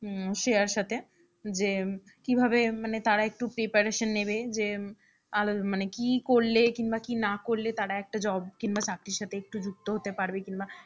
হুম শ্রেয়ার সাথে, যে কিভাবে মানে তারা একটু preparation নেবে যে মানে কি করলে কিংবা কি না করলে তারা একটা job কিংবা চাকরির সাথে একটু যুক্ত হতে পারবে কিংবা,